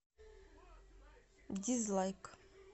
дизлайк